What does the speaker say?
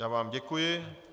Já vám děkuji.